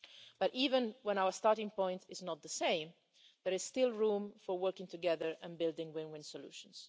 But even when our starting point is not the same, there is still room for working together and building win win solutions.